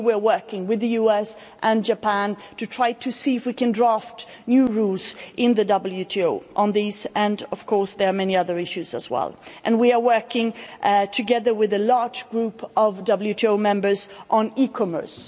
We are working with the US and Japan to try to see if we can draft new rules in the WTO on these, and, of course, there are many other issues as well. We are working together with a large group of WTO members on e commerce.